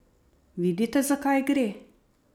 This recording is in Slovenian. Vidite, za kaj gre?